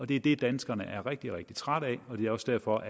det er det danskerne er rigtig rigtig trætte af og det er også derfor